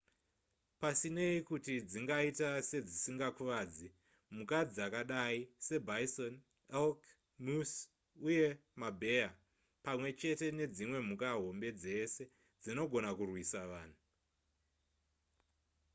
pasinei nekuti dzingaita sedzisingakuvadzi mhuka dzakadai sebison elk moose uye mabheya pamwe chete nedzimwe mhuka hombe dzese dzinogona kurwisa vanhu